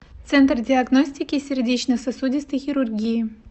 центр диагностики и сердечно сосудистой хирургии